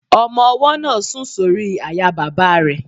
Ọmọ-ọwọ́ náà sùn sórí àyà bàbá rẹ̀